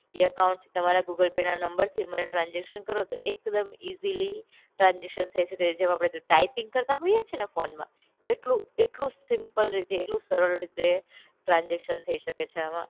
એ અકાઉન્ટથી તમારા ગૂગલ પેના નંબરથી મને ટ્રાન્સઝેકશન કરો તો એક દમ ઈઝીલી ટ્રાન્સઝેકશન થઇ શકે છે જેમ અપડેકે ટાઈપિંગ કરતા હોઈએ છે ને ફોનમાં એટલું એટલું સિમ્પલ રીતે એટલું સરળ રીતે ટ્રાન્સઝેકશન થઇ શકે છે આમાં.